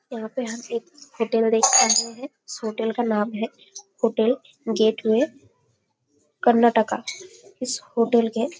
यहाँ पे हम एक होटल देख पा रहे है होटल का नाम है होटल गेटवे कर्नाटका इस होटल के--